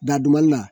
Daduma la